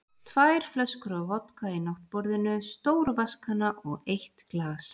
Tvær flöskur af vodka í náttborðinu, stór vatnskanna og eitt glas.